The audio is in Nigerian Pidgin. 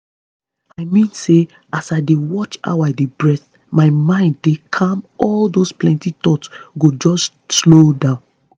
i mean say as i dey watch how i dey breathe my mind dey calm all those plenty thoughts go just slow down